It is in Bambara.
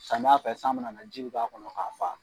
Samiya fɛ san mana na ji bɛ k'a kɔnɔ k'a fa.